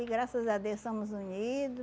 E graças a Deus somos unido